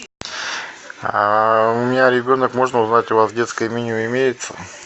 а у меня ребенок можно узнать у вас детское меню имеется